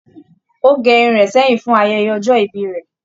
Ó gẹ irun rẹ̀ sẹ́yìn fún ayẹyẹ ọjọ́ ìbí rẹ̀.